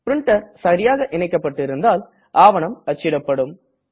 printer சரியாக இனைக்கப்பட்டிருந்தால் ஆவணம் அச்சிடப்படும்